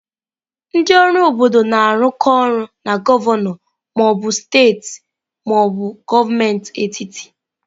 Ndị ọrụ obodo na-arụkọ ọrụ na gọvanọ ma ọ bụ steeti ma ọ bụ gọọmenti etiti.